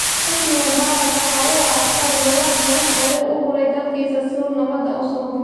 Xusni Mubaarak waxa uu ahaa askari, balse wax badan ayuu u huray dalkiisa si uu nabadda u sugo.